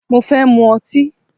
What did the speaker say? Mo fẹ́ mu ọtí.